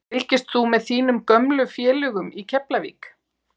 Fylgist þú með þínum gömlu félögum í Keflavík?